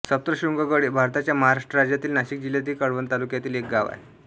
सप्तशृंगगड हे भारताच्या महाराष्ट्र राज्यातील नाशिक जिल्ह्यातील कळवण तालुक्यातील एक गाव आहे